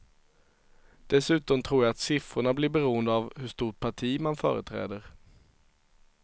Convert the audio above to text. Dessutom tror jag att siffrorna blir beroende av hur stort parti man företräder.